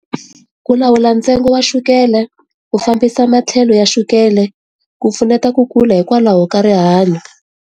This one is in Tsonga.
Ku lawula ntsengo wa chukele ku fambisa matlhelo ya chukele ku pfuneta ku kula hikwalaho ka rihanyo.